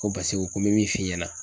Ko paseke u ko n bɛ min f'i ɲɛna.